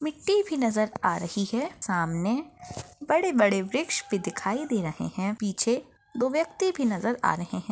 मिट्टी भी नजर आ रही है सामने बड़े बड़े वृक्ष भी दिखाई दे रहे है पीछे दो व्यक्ति भी नजर आ रहे है।